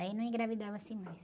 Aí não engravidava-se mais.